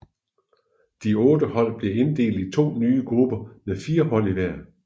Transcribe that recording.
De otte hold blev inddelt i to nye grupper med fire hold i hver